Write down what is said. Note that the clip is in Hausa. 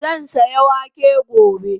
Zan saya wake gobe